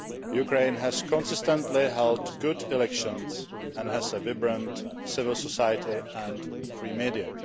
Ukraine has consistently held good elections, and has a vibrant civil society and free media.